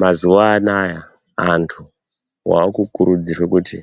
Mazuwa anoaya, antu waakurudzirwa kuti